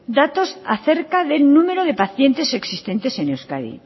datos acerca del número de pacientes existentes en euskadi